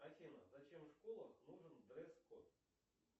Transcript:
афина зачем в школах нужен дресс код